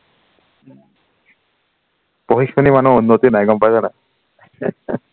পঢ়ি শুনি মানুহৰ উন্নতি নাই গম পাইছা নাই